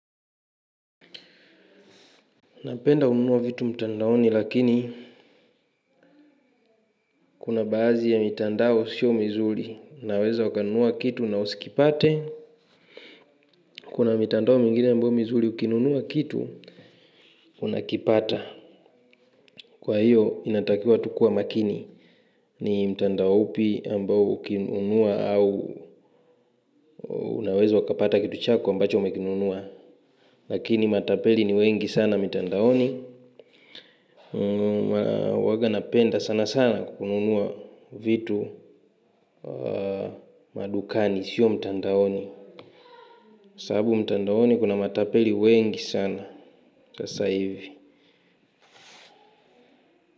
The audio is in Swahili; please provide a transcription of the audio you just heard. Napenda kununua vitu mtandaoni lakini, kuna baazi ya mitandao sio mizuri. Unaweza ukanunua kitu na usikipate. Kuna mitandao mingine ambao mizuri, ukinunua kitu unakipata. Kwa hiyo inatakiwa tukuwe makini. Ni mtandao upi ambao ukinunua au unaweza ukapata kitu chako ambacho umekinunua. Lakini matapeli ni wengi sana mitandaoni. Huaga napenda sana sana kukununua vitu madukani, sio mtandaoni. Saabu mtandaoni kuna matapeli wengi sana sasa hivi.